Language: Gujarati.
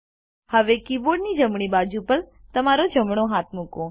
હવે કીબોર્ડની જમણી બાજુ પર તમારો જમણો હાથ મૂકો